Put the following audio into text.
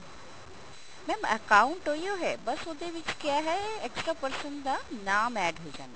mam account ਉਹੀਓ ਹੈ ਬੱਸ ਉਹਦੇ ਵਿੱਚ ਕਿਆ ਹੈ extra person ਦਾ ਨਾਮ add ਹੋ ਜਾਂਦਾ